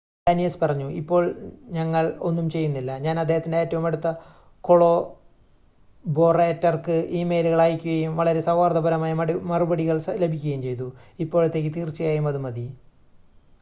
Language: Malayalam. "ഡാനിയസ് പറഞ്ഞു "ഇപ്പോൾ ഞങ്ങൾ ഒന്നും ചെയ്യുന്നില്ല. ഞാൻ അദ്ദേഹത്തിന്റെ ഏറ്റവും അടുത്ത കൊളാബൊറേറ്റർക്ക് ഇമെയിലുകൾ അയയ്ക്കുകയും വളരെ സൗഹാർദ്ദപരമായ മറുപടികൾ ലഭിക്കുകയും ചെയ്തു. ഇപ്പോഴത്തേക്ക് തീർച്ചയായും അത് മതി.""